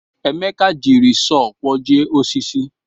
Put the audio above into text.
Emeka jiri sọọ kwọjie osisi.